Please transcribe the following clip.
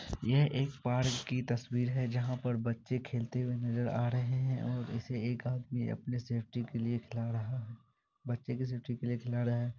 यह एक पार्क की तस्वीर है जहा पर बच्चे खेलते हुए नजर आ रहे हैं और इसे एक आदमी अपने सेफ्टी के लिए खिला रहा है। बच्चे के सेफ्टी के लिए खिला रहा है।